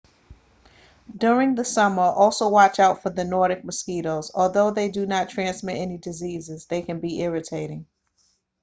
during the summer also watch out for the nordic mosquitoes although they do not transmit any diseases they can be irritating